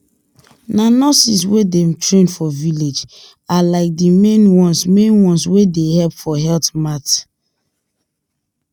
na nurses wey dem train for village are like the main ones main ones wey dey help for health matte